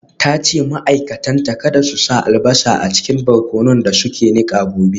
Ta ce ma’aikatanta kada su sa albasa a cikin barkonon da suke nika gobe.